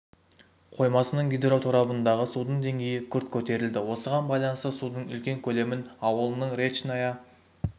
қоймасының гидроторабындағы судың деңгейі күрт көтерілді осыған байланысты судың үлкен көлемін ауылының речная